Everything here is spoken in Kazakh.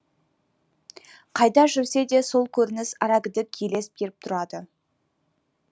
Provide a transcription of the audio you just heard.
қайда жүрсе де сол көрініс арагідік елес беріп тұрады